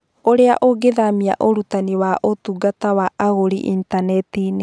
Ũrĩa ũngĩthamia ũrutani wa ũtungata wa agũri intaneti-inĩ: